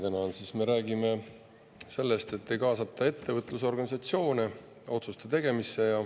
Täna me räägime sellest, et ei kaasata ettevõtlusorganisatsioone otsuste tegemisse.